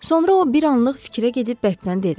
Sonra o, bir anlıq fikrə gedib bərkdən dedi: